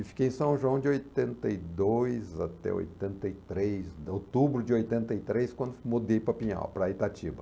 E fiquei em São João de oitenta e dois até oitenta e três, outubro de oitenta e três, quando mudei para Pinhal, para Itatiba.